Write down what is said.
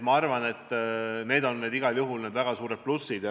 Ma arvan, et need on igal juhul väga suured plussid.